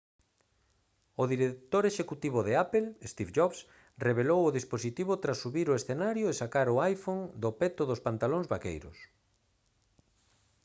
o director executivo de apple steve jobs revelou o dispositivo tras subir ao escenario e sacar o iphone do peto dos pantalóns vaqueiros